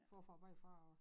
Forfra bagfra og